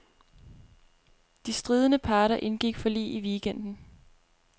De stridende parter indgik forlig i weekenden.